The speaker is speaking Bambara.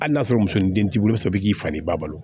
Hali n'a sɔrɔ muso ni den t'i bolo sɔrɔ i k'i faden ba bolo